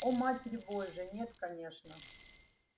о матерь божья нет конечно